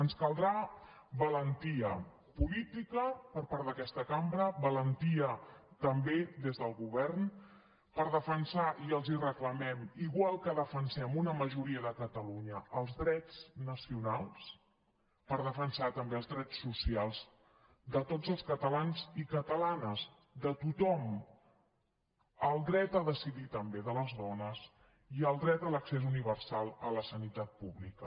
ens caldrà valentia política per part d’aquesta cambra valentia també des del govern per defensar i els ho reclamem igual que defensem una majoria de catalunya els drets nacionals també els drets socials de tots els catalans i catalanes de tothom el dret a decidir també de les dones i el dret a l’accés universal a la sanitat pública